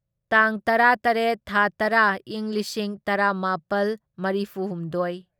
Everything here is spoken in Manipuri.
ꯇꯥꯡ ꯇꯔꯥꯇꯔꯦꯠ ꯊꯥ ꯇꯔꯥ ꯢꯪ ꯂꯤꯁꯤꯡ ꯇꯔꯥꯃꯥꯄꯜ ꯃꯔꯤꯐꯨꯍꯨꯝꯗꯣꯢ